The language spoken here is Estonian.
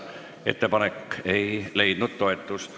Ettepanek ei leidnud toetust.